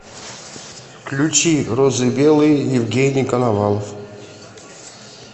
включи розы белые евгений коновалов